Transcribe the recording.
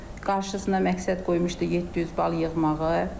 Qarşısına məqsəd qoymuşdu 700 bal yığmağı.